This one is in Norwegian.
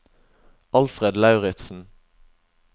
Alfred Lauritzen